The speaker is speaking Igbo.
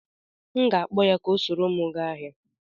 M ga-akpọ ya ka o soro m gaa ahịa.